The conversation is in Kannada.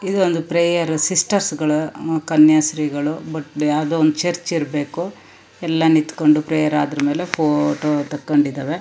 ಇಲ್ಲಿ ಒಂದು ಪ್ರೇಯರ್ ಸಿಸ್ಟರ್ಸ್ ಗಳು ಕನ್ಯಶ್ರೀ ಗಳು ಬಟ್ ಯಾವದೋ ಒಂದು ಚರ್ಚ್ ಇರಬೇಕು ಎಲ್ಲಾ ನಿತ್ತಕೊಂಡು ಪ್ರೇಯರ್ ಆದಮೇಲೆ ಫೋಟೋ ತಕೊಂಡಿದವೆ.